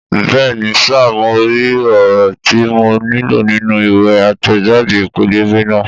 Bẹ́ẹ̀ni sà, mo rí ọ̀rọ̀ tí mo nílò nínú ìwé àtẹ̀jáde pẹ́lẹ́bẹ́ náà